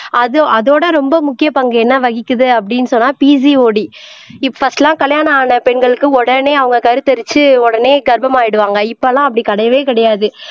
அதோ அதோட ரொம்ப முக்கிய பங்கு என்ன வகிக்குது அப்படின்னு சொன்னா PCOD இப்ப பர்ஸ்ட்லாம் கல்யாணம் ஆன பெண்களுக்கு உடனே அவங்க கருத்து எரிச்சு உடனே கர்ப்பம் ஆயிடுவாங்க இப்ப எல்லாம் அப்படி கிடையவே கிடையாது